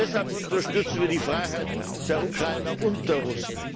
Deshalb unterstützen wir die Freiheit der Ukrainer und der Russen.